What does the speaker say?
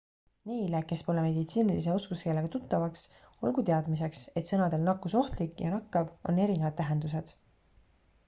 neile kes pole meditsiinilise oskuskeelega tuttavad olgu teadmiseks et sõnadel nakkusohtlik ja nakkav on erinevad tähendused